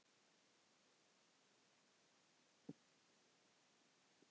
Júlía saknar hennar enn.